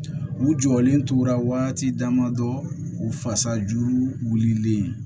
U jɔlen tora waati damadɔ u fasajuru wulilen